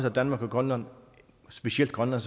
at danmark og grønland og specielt grønland